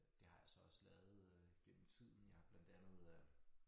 Det har jeg så også lavet øh gennem tiden jeg har blandt andet øh